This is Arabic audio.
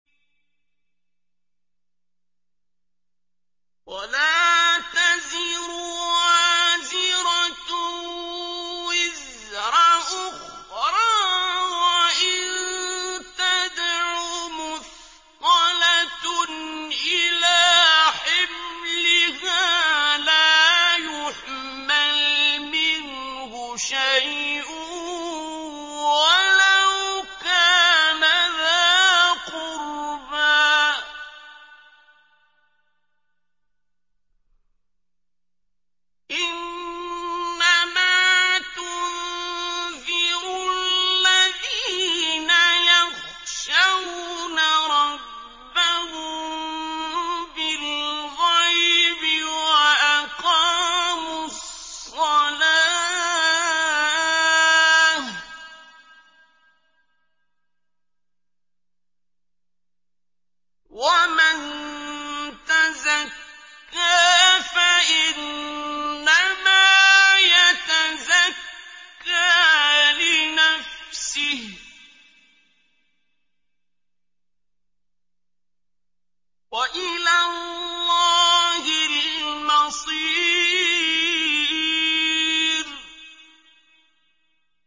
وَلَا تَزِرُ وَازِرَةٌ وِزْرَ أُخْرَىٰ ۚ وَإِن تَدْعُ مُثْقَلَةٌ إِلَىٰ حِمْلِهَا لَا يُحْمَلْ مِنْهُ شَيْءٌ وَلَوْ كَانَ ذَا قُرْبَىٰ ۗ إِنَّمَا تُنذِرُ الَّذِينَ يَخْشَوْنَ رَبَّهُم بِالْغَيْبِ وَأَقَامُوا الصَّلَاةَ ۚ وَمَن تَزَكَّىٰ فَإِنَّمَا يَتَزَكَّىٰ لِنَفْسِهِ ۚ وَإِلَى اللَّهِ الْمَصِيرُ